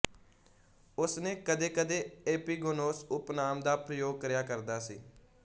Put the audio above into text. ਉਸ ਨੇ ਕਦੇਕਦੇ ਏਪੀਗੋਨੋਸ ਉਪਨਾਮ ਦਾ ਪ੍ਰਯੋਗ ਕਰਿਆ ਕਰਦਾ ਸੀ